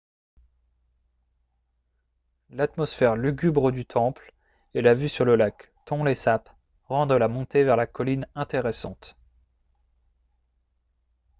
l'atmosphère lugubre du temple et la vue sur le lac tonlé sap rendent la montée vers la colline intéressante